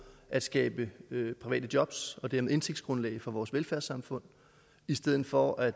at skabe private job og dermed indtægtsgrundlag for vores velfærdssamfund i stedet for at